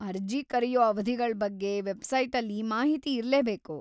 ಅರ್ಜಿ ಕರೆಯೋ ಅವಧಿಗಳ್ ಬಗ್ಗೆ ವೆಬ್ಸೈಟಲ್ಲಿ ಮಾಹಿತಿ ಇರ್ಲೇಬೇಕು.